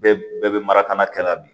Bɛɛ bɛɛ bɛ mara ka na kɛ la bi